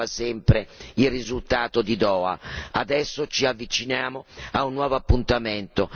Il risultato è che non si è fatto nulla perché si aspettava sempre il risultato di Doha.